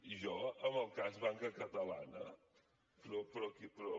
i jo amb el cas banca catalana però què